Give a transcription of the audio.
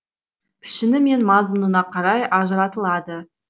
пішіні мен мазмұнына қарай ажыратылады